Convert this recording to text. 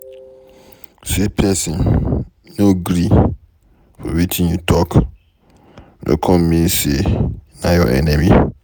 Say pesin no gree for wetin you talk, no come mean sey na your enemy.